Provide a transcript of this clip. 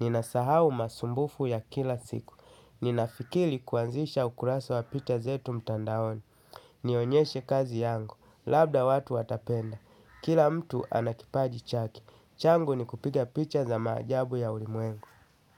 Ninasahau masumbufu ya kila siku. Ninafikili kuanzisha ukurasa wa picha zetu mtandaoni. Nionyeshe kazi yangu. Labda watu watapenda. Kila mtu ana kipaji chake. Changu ni kupiga picha za maajabu ya ulimwengu.